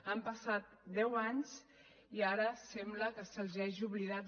han passat deu anys i ara sembla que se’ls hagi oblidat